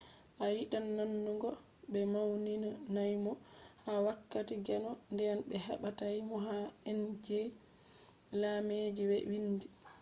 a yidan nanugo be mauninaimo ha wakkati gendo den be watai mo ha indeji lambeji be wiindi